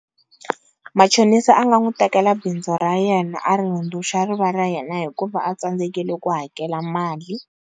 Machonisa a nga n'wi tekela bindzu ra yena a ri hundzuluxa ri va ra yena hikuva a tsandzekile ku hakela mali.